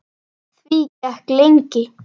Því gekk lengi.